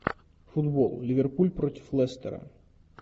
футбол ливерпуль против лестера